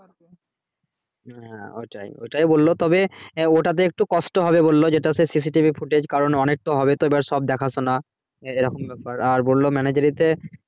হ্যাঁ ওটাই ওটাই বললো তবে ওটাতে একটু কষ্ট হবে বললো যেটা সে CCTV footage কারণ অনেক তো হবে তো এবার সব দেখা শোনা এইরকম ব্যাপার আর বললো manager ই তে হবে